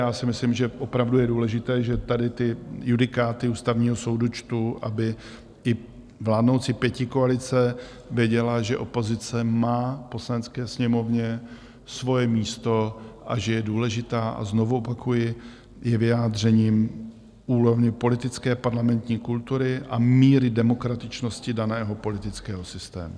Já si myslím, že opravdu je důležité, že tady ty judikáty Ústavního soudu čtu, aby i vládnoucí pětikoalice věděla, že opozice má v Poslanecké sněmovně svoje místo a že je důležitá, a znovu opakuji, je vyjádřením úrovně politické parlamentní kultury a míry demokratičnosti daného politického systému.